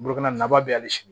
Bolokoli nafaba bɛ hali